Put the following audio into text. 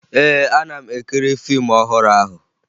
Ee, ana m ekiri fiimu ọhụrụ ahụ